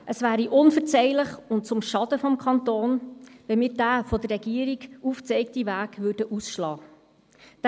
Es wäre unverzeihlich und zum Schaden des Kantons, wenn wir diesen von der Regierung aufgezeigten Weg ausschlagen würden.